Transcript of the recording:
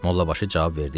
Mollabaşı cavab verdi ki: